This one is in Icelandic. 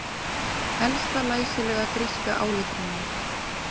Elsta læsilega gríska áletrunin